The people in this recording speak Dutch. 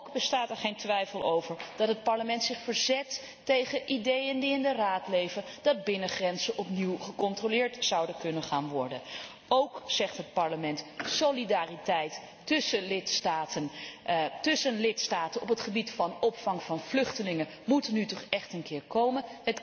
Ook bestaat er geen twijfel over dat het Parlement zich verzet tegen ideeën die in de Raad leven dat binnengrenzen opnieuw gecontroleerd zouden kunnen gaan worden. Ook zegt het Parlement solidariteit tussen lidstaten op het gebied van vluchtelingen moet er nu toch echt een keer komen.